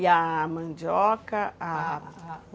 E a mandioca...? A a